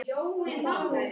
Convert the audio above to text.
Ætla ekki út